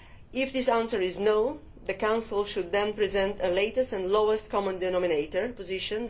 If the answer is no, the Council should then present the latest and lowest common denominator position.